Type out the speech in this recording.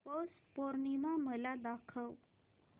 पौष पौर्णिमा मला दाखव